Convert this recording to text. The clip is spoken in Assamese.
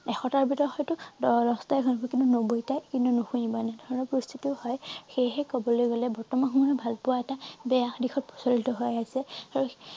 এশ টাৰ ভিতৰত হয়টো দহ দহটা শুনিব কিন্তু নব্বৈ টাই কিন্তু নুশুনিব এনেধৰণৰ পৰিস্থিতিও হয় সেইহে কবলৈ গলে বৰ্তমান সময়ত ভালপোৱা এটা বেয়া দিশত প্ৰচলিত হৈ আহিছে আৰু